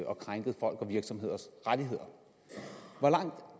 og krænket folks og virksomheders rettigheder